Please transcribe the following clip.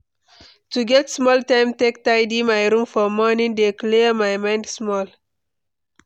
To get small time take tidy my room for morning dey clear my mind small.